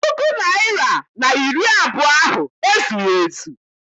Puku naịra na iri abụọ ahụ ezughị ezu.